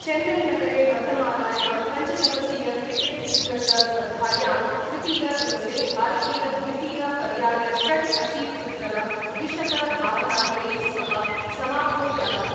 चैन्नई नगरे वर्तमानायां पञ्चदिवसीय क्रिकेट निकष स्पर्धायां तृतीयदिवसे भारतीयद्वितीय पर्याय षड् अशीत्युत्तर द्विशतधावनांकैः सह समाप्तो जातः।